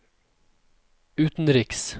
utenriks